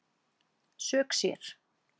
Sök sér